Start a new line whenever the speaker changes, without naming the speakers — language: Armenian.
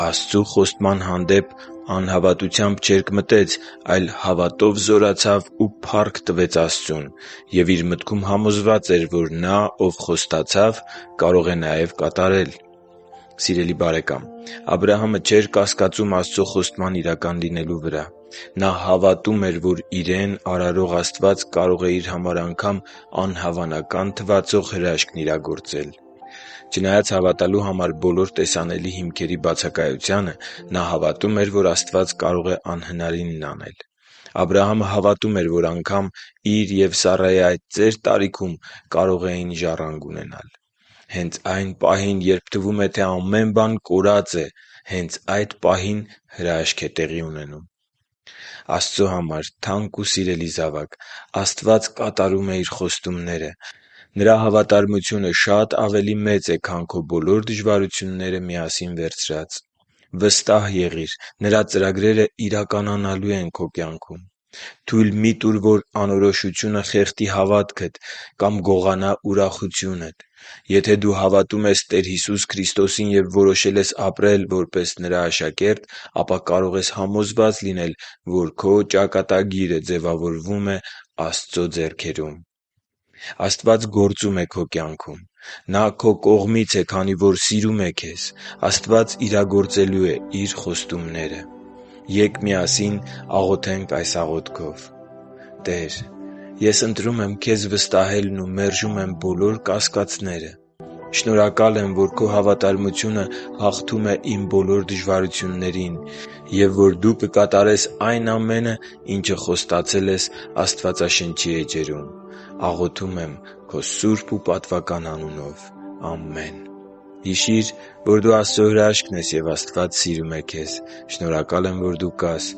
Աստծու խոստման հանդեպ անհավատությամբ չերկմտեց, այլ հավատով զորացավ ու փառք տվեց Աստծուն։ Եվ իր մտքում համոզված էր, որ Նա, Ով խոստացավ, կարող է և կատարել» (Հռոմեացիս 4.20-21): Սիրելի՛ բարեկամ, Աբրահամը չէր կասկածում Աստծո խոստման իրական լինելուն։ Նա հավատում էր, որ իրեն արարող Աստված կարող է իր համար անգամ անհավանական թվացող հրաշքն իրագործել։ Չնայած հավատալու բոլոր տեսանելի հիմքերի բացակայությանը, նա հավատում էր, որ Աստված կարող է անհնարինն անել։ Աբրահամը հավատում էր, որ անգամ իր և Սառայի այդ ծեր տարիքում կարող էին ժառանգ ունենալ։ Հենց այն պահին, երբ թվում է, թե ամեն բան այլևս կորած է… հենց այդ պահին հրաշք է տեղի ունենում։ Աստծո համար թանկ ու սիրելի՛ զավակ, Աստված կատարում է Իր խոստումները։ Նրա հավատարմությունը շատ ավելի մեծ է, քան քո բոլոր դժվարություններն իրար հետ վերցրած։ Վստահ եղի՛ր՝ Նրա ծրագրերը իրականանալու են քո կյանքում։ Թույլ մի՛ տուր, որ անորոշությունը խեղդի հավատքդ կամ գողանա ուրախությունդ։ Եթե դու հավատում ես Տեր Հիսուս Քրիստոսին և որոշել ես ապրել որպես Նրա աշակերտ, ապա կարող ես համոզված լինել, որ Քո ճակատագիրը ձևավորվում է Աստծո ափի մեջ։ Աստված գործում է քո կյանքում։ Նա քո կողմից է, քանի որ սիրում է քեզ։ Աստված իրագործելու է Իր խոստումները։ Ե՛կ միասին աղոթենք այս աղոթքով. «Տե՛ր, ես ընտրում եմ Քեզ վստահելն ու մերժում եմ բոլոր կասկածները։ Շնորհակալ եմ, որ Քո հավատարմությունը հաղթում է իմ բոլոր դժվարություններին, և որ Դու կկատարես այն ամենը, ինչը խոստացել ես Աստվածաշնչի էջերում։ Աղոթում եմ Քո սուրբ ու պատվական անունով։ Ամե՛ն»։ Հիշի՛ր, որ դու Աստծո հրաշքն ես, և Աստված սիրում է քեզ։ Շնորհակալ եմ, որ դու կա՛ս